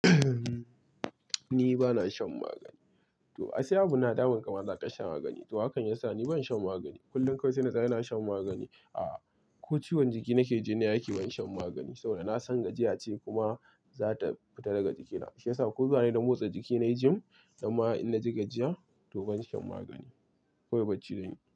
Ni bana shan magani. Ai sai abu na damun ka, ma za kasha magani. To hakan ya sa ni ban shan magani. Kullum kawai sai na tsaya "Ina shan magani." Aa ko ciwon jiki nake ji inayi aiki ban shan magani. To na san gajiya ce kuma za ta fita daga jikina, shi ya sa ko zuwa nayi na motsa jiki na yi gym, amma in na ji gajiya to ban shan magani. Kowai bacci zanyi.